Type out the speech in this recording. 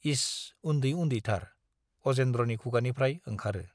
इस! उन्दै उन्दैथार - अजेन्द्रनि खुगानिफ्राय ओंखारो।